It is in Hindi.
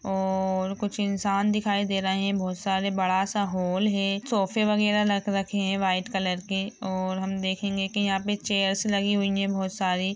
और कुछ इंसान दिखाई दे रहे हैं बहुत सारे बड़ा सा हॉल है सोफे बगेरा लग रखे है वाइट कलर के और हम देखेंगे की यहाँ पे चेयर्स लगी हुई है बहुत सारी ।